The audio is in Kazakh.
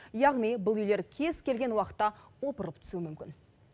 яғни бұл үйлер кез келген уақытта опырылып түсуі мүмкін